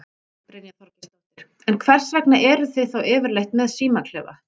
Brynja Þorgeirsdóttir: En hvers vegna eruð þið þá yfirleitt með símaklefa?